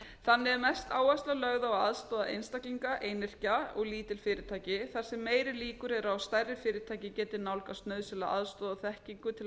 þannig er mest áhersla lögð á að aðstoða einstaklinga og lítil fyrirtæki þar sem meiri líkur eru á að stærri fyrirtæki geti nálgast nauðsynlega aðstoð og þekkingu til